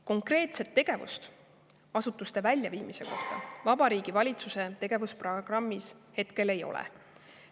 Konkreetset tegevust asutuste väljaviimise kohta Vabariigi Valitsuse tegevusprogrammis hetkel ei ole.